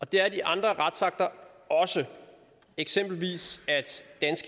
det er de andre retsakter også eksempelvis